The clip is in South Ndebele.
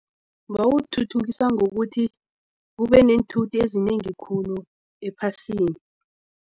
Bawuthuthukisa ngokuthi kube neenthuthi ezinengi khulu ephasini.